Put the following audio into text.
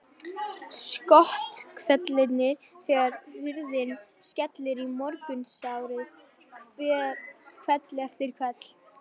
Skothvellirnir þegar hurðin skellur í morgunsárið hvell eftir hvell.